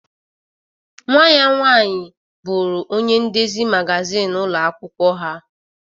Nwa ya nwaanyi bụrụ ọnye ndezi magazịn ụlo akwụkwo ha